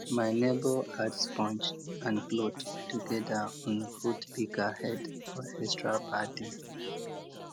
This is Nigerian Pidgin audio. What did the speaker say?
my neighbour add sponge and cloth togeda on fruit pika head for extra padding